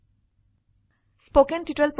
উদাহৰণস্বৰূপে 19435 gt 53491